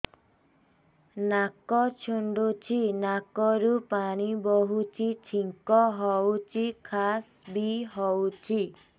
ନାକ ଚୁଣ୍ଟୁଚି ନାକରୁ ପାଣି ବହୁଛି ଛିଙ୍କ ହଉଚି ଖାସ ବି ହଉଚି